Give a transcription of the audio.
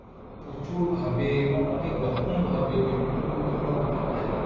প্রচুর ভাবে বা অনেক রকম ভাবে বিভিন্ন বিভিন্ন উপাধ্যায়